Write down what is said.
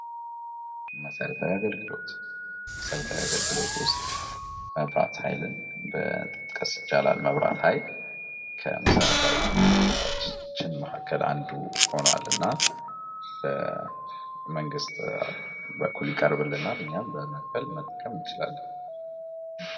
መሰረታዊ የአገልግሎት መሠረታዊ አገልግሎት ውስጥ መብራት ኃይል መጥቀስ ይቻላል መብራት ኃይል ከመሰረታዊ ፍላጎቶች መካከል አንዱ ሆኗልና በመንግስት በኩል ይቀርብልናል እኛም በመክፈ ት እንችላለን።